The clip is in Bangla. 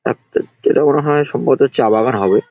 এক এক যেটা মনে হয় সম্ভবত চা বাগান হবে ।